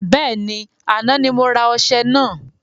Bẹ́ẹ̀ni, àná ni mo rà ọṣẹ naa